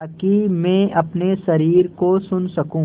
ताकि मैं अपने शरीर को सुन सकूँ